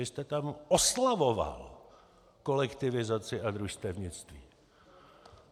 Vy jste tam oslavoval kolektivizaci a družstevnictví.